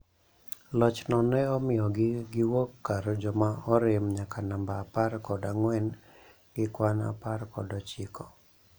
Lochno ne omiyog gi wuok kar joma orem nyaka namba apar kod angwen gi kwan apar kod ochiko